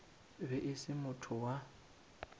be e se motho wa